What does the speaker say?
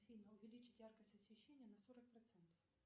афина увеличить яркость освещения на сорок процентов